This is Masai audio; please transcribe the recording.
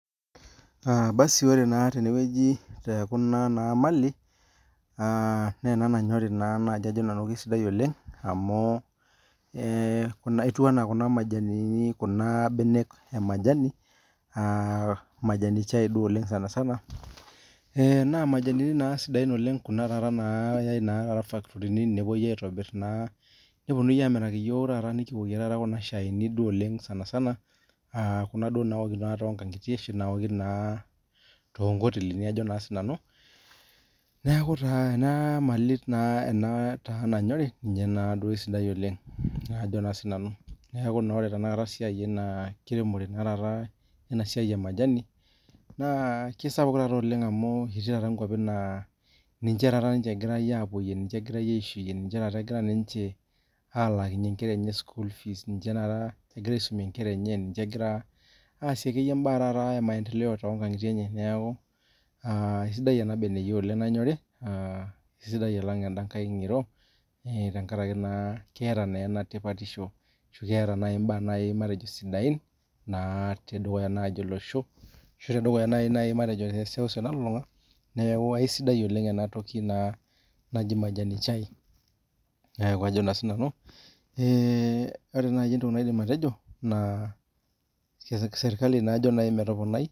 Ore naa tenewueji tee Kuna Mali naa ena nanyorie naaji Ajo nanu kaisidai oleng amu etieu ena Kuna mbenek emajani chai duo sanisana naa majanini sidain oleng nayai ee fakitorini nepuoi aitobir nepuonunui amiraki eyiok amu ore Kuna Shani sanisana Kuna naoki too nkang'itie ashu naoki too nkotelini Ajo sinanu neeku ena Mali nanyorie ninye esidai oleng neeku ore esiai ena kiremore eina siai ee majani naa kisapuk taata oleng amu ketii nkwapii taata naa ninche egira apuoyie ninche egira taata aishuyie alakinhie enkera enye sukuul fees ninche egira ninche aisumie Nkera enye ninche egira aaasie mbaa emaendeleo naa sidai oleng ena beniyio nanyorie kaisidai alng endaa ngiroo tenkaraki keeta naa ena tipatisho ashu keeta mbaa sidain tedukuya naaji olosho ashu tedukuya matejo tee seuseu nalulung'a naaji majani chai neeku Ajo sinanu ore entoki naidim atejo naa sirkali ajoki metoponai